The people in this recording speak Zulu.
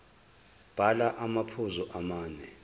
bhala amaphuzu amane